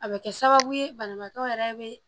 A bɛ kɛ sababu ye banabaatɔ yɛrɛ bɛ